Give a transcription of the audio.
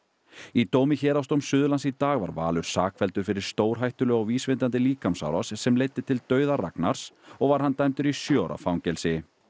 í dómi héraðsdóms Suðurlands í dag var Valur sakfelldur fyrir stórhættulega og vísvitandi líkamsárás sem leiddi til dauða Ragnars og var hann dæmdur í sjö ára fangelsi